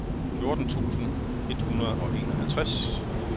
fjorten tusind et hundrede og enoghalvtreds